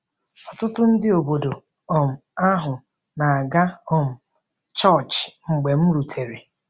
Ọtụtụ ndị obodo um ahụ na-aga um chọọchị mgbe m rutere.